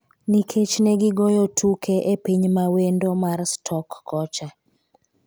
nikech ne gigoyo tuke epiny mawendo mar Stoke kocha